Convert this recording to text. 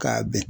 K'a bɛn